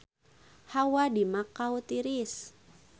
Hawa di Makau tiris